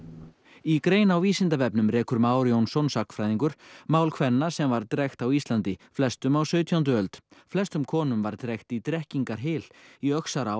í grein á Vísindavefnum rekur Már Jónsson sagnfræðingur mál kvenna sem var drekkt á Íslandi flestum á sautjándu öld flestum konum var drekkt í Drekkingarhyl í Öxará